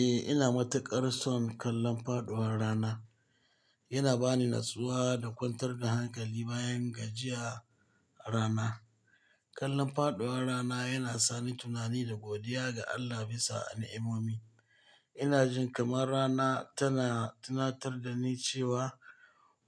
Eh, ina matuƙar son kallon faɗuwar rana. Yana ba ni natsuwa da kwantar da hankali bayan gajiya rana. Kallon faɗuwar rana yana sa ni tunani da godiya ga Allah bisa an'i'omomi. Ina jin kamar rana tana tunatar da ni cewa